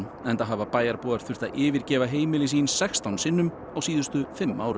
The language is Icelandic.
enda hafa bæjarbúar þurft að yfirgefa heimili sín sextán sinnum á síðustu fimm árum